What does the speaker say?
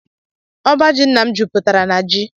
Ọbá jị ńnà m jụputere na jị.